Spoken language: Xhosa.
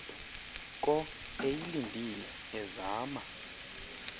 ko eyilindile ezama